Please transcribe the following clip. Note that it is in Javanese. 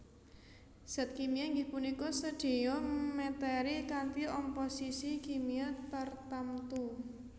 Zat kimia inggih punika sedaya meteri kanthi omposisi kimia tartamtu